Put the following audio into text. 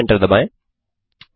फिर से एंटर दबाएँ